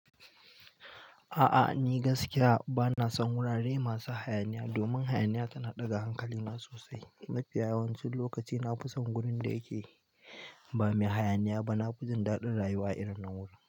A'a ni gaskiya bana son wurare masu hayaniya domin hayaniya tana ɗaga hankalina sosai. Mafiya yawancin lokaci na fi son gurin da yake ba mai hayaniya ba. Na fi jin daɗin rayuwa a irin nan wuri.